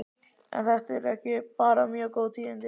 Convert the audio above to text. Eru þetta ekki bara mjög góð tíðindi?